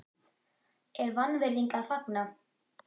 er vanvirðing að fagna?